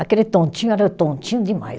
Aquele tontinho era tontinho demais.